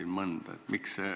Ma mõnda nimetasin.